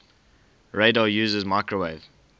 radar uses microwave